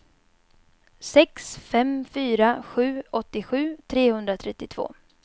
sex fem fyra sju åttiosju trehundratrettiotvå